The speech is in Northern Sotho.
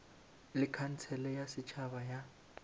le khansele ya setšhaba ya